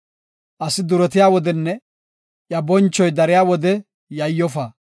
Asi duretiya wodenne iya bonchoy dariya wode yayyofa.